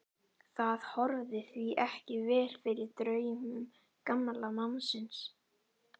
Það horfði því ekki vel fyrir draumum gamla mannsins.